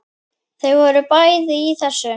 Þau voru bæði í þessu.